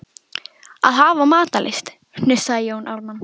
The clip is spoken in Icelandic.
Að hafa matarlyst, hnussaði Jón Ármann.